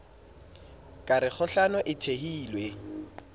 ka re kgohlano e thehilwe